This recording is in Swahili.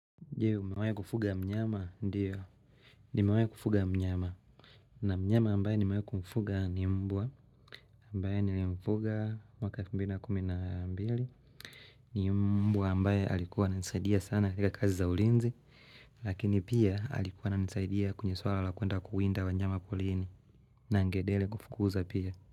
Je, umewahi kufuga mnyama? Ndiyo, nimewahi kufuga mnyama, na mnyama ambaye nimewahi kumfuga ni mbwa, ambaye nilimfuga mwaka 2012 ni mbwa ambaye alikuwa ananisaidia sana katika kazi za ulinzi, lakini pia alikuwa ananisaidia kwenye swala la kuenda kuwinda wanyama porini, na angedele kufukuza pia.